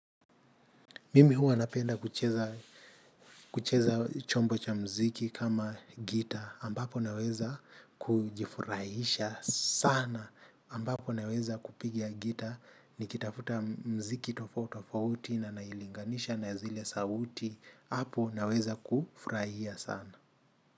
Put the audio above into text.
Mimi huwa napenda kucheza. Kucheza chombo cha mziki kama gita, ambapo naweza kujifurahisha sana, ambapo naweza kupigia gita, nikitafuta mziki tofo tofauti na nailinganisha na zile sauti, hapo naweza kufurahia sana.